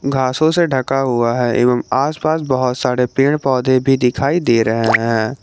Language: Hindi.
घासों से ढका हुआ है एवं आसपास बहुत सारे पेड़ पौधे भी दिखाई दे रहे हैं।